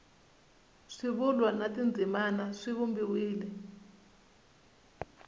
swivulwa na tindzimana swi vumbiwile